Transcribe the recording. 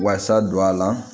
Wasa don a la